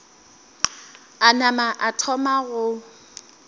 a nama a thoma go